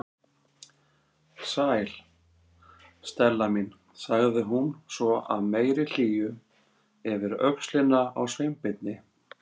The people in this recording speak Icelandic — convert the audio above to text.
Sæl, Stella mín- sagði hún svo af meiri hlýju yfir öxlina á Sveinbirni.